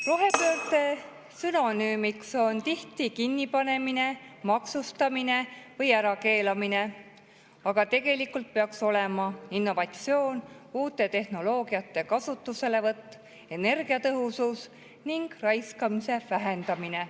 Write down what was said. Rohepöörde sünonüümiks on tihti kinnipanemine, maksustamine või ärakeelamine, aga tegelikult peaks olema innovatsioon, uute tehnoloogiate kasutuselevõtt, energiatõhusus ning raiskamise vähendamine.